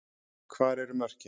Hvar eru mörkin?